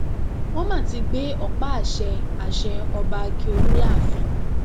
wọn má ti gbé ọpá àṣẹ àṣẹ ọba ákíọlù láàfin